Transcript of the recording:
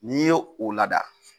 N'i ye o lada,